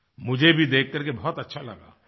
मुझे भी देख करके बहुत अच्छा लगा